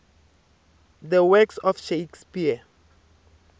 the works of shakespeare